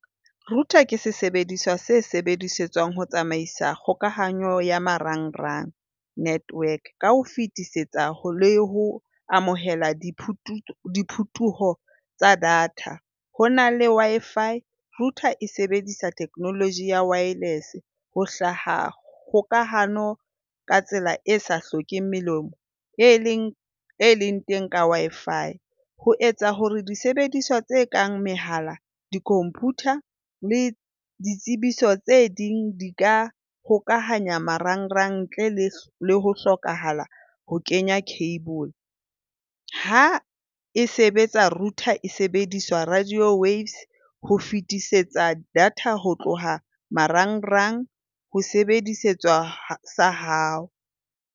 Router ke sesebediswa se sebedisetswang ho tsamaisa kgokahanyo ya marangrang network ka ho fetisetsa ho le ho amohela dipuo tsa data. Ho na le Wi-Fi. Router e sebedisa technology ya wireless ho hlaha kgokahano ka tsela e sa hlokeheng melemo e leng e leng teng ka Wi-Fi. Ho etsa hore disebediswa tse kang mehala, di-computer le ditsebiso tse ding di ka hokahanya marangrang ntle le ho hlokahala ho kenya cable. Ha e sebetsa router e sebediswa radio waves ho fetisetsa data ho tloha marangrang ho sesebediswa sa hao.